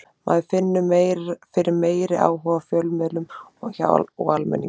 Maður finnur fyrir meiri áhuga hjá fjölmiðlum og almenningi.